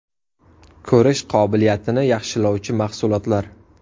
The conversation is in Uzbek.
Ko‘rish qobiliyatini yaxshilovchi mahsulotlar.